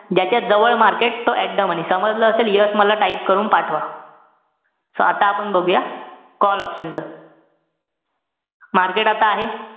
ज्याच्या जवळ market तो at the money. समजलं असेल yes मला type करून पाठवा. so आता आपण बघूया, call option च market आता आहे,